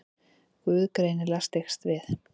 Guð greinilega styggst við.